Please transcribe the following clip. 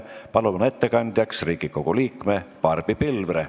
Palun ettekandjaks Riigikogu liikme Barbi Pilvre.